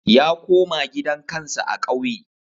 Ya koma gidan kansa a kauye